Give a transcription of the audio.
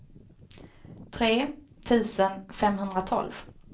tre tusen femhundratolv